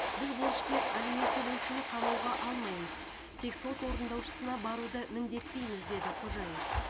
біз борышкер алимент төлеушіні қамауға алмаймыз тек сот орындаушысына баруды міндеттейміз деді қожаев